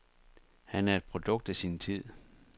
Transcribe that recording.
Han er et produkt af sin tid.